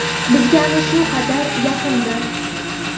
bizga ana shu qadar yaqindir.